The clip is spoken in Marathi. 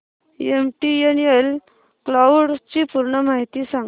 एमटीएनएल क्लाउड ची पूर्ण माहिती सांग